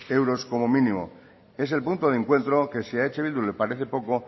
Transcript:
euros como mínimo es el punto de encuentro que si a eh bildu le parece poco